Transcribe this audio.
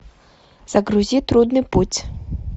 загрузи трудный путь